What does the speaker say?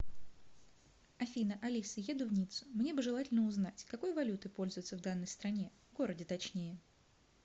афина алиса еду в ниццу мне бы желательно узнать какой валютой пользуются в данной стране городе точнее